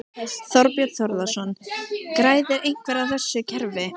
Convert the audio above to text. Þorbjörn Þórðarson: Græðir einhver á þessu kerfi?